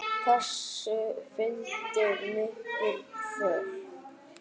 Þessu fylgdi mikil kvöl.